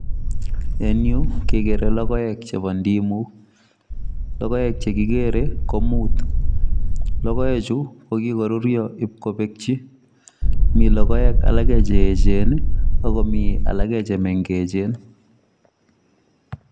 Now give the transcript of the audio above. En yu kegere logoek chebo Ndimu logoek chekigere ko muut. logoekchu kokikoruryo ipkopekchi mi logoek alake cheechen akomi alake chemengechen